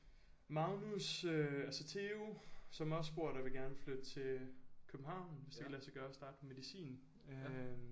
Magnus øh altså Theo som også bor der vil gerne flytte til København hvis det kan lade sig gøre at starte på medicin øh